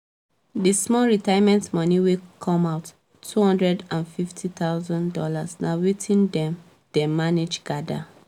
di small retirement moni wey come out two hundred and fifty thousand dollars na watin dem dem manage gather